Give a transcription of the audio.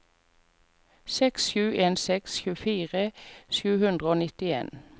seks sju en seks tjuefire sju hundre og nittien